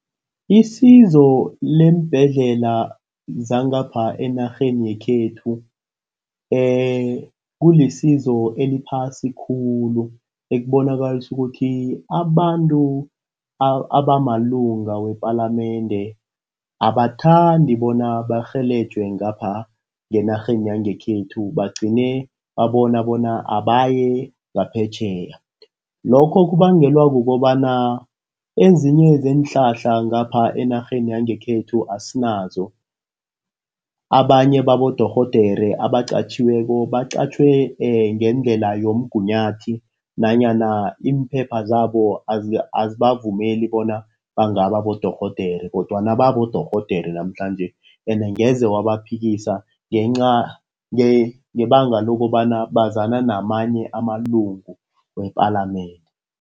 Isizo leembhedlela zangapha enarheni yekhethu kulisizo eliphasi khulu. Ekubonakalisa ukuthi abantu abamalunga wepalamende abathandi bona barhelejwe ngapha ngenarheni yangekhethu. Bagcine babona bona abaye ngaphetjheya. Lokho kubangelwa kukobana, ezinye zeenhlahla ngapha enarheni yangekhethu asinazo. Abanye babodorhodere abaqatjhiweko baqatjhwe ngendlela yomgunyathi nanyana impepha zabo azibavumeli bona bangaba bodorhodere kodwana babodorhodere namhlanje. Ende angeze wabaphikisa ngenca ngebanga lokobana bazana namanye amalungu wepalamende.